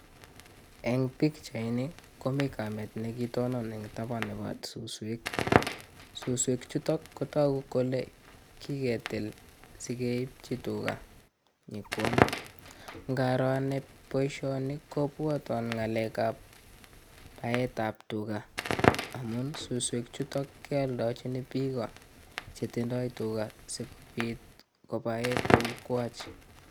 Eng pikchait ni komii Kamet ne kitonon eng taban nebo suswek, suswek chuto kotoku kole kiketil sikeibchi tuga nyokwam ngaroo anee boishoni kobwatwan ngalek ab baet ab tuga amu suswek chuto keodochini Biko chetindoi tuga sikobot kobaee tugwach